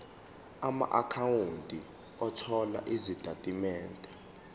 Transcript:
amaakhawunti othola izitatimende